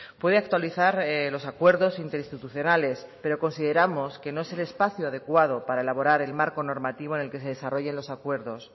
puede actualizar los acuerdos interinstitucionales pero consideramos que no es el espacio adecuado para elaborar el marco normativo en el que se desarrollen los acuerdos